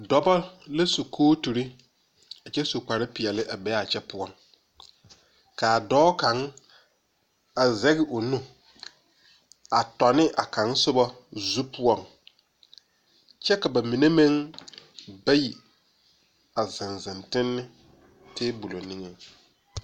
Dɔba la su kootiri a kye su kpare peɛle a be a kye pou kaa doɔ kang a zeg ɔ nu a tɔni a kan suba zu pou kye ka ba mene meng bayi a zeng zeng tenni tabol ningen.